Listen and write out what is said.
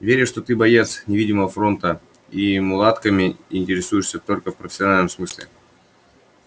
верю что ты боец невидимого фронта и мулатками интересуешься только в профессиональном смысле